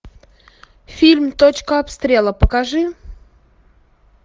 фильм точка обстрела покажи